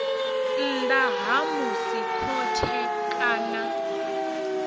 nnḓa ha musi khothe kana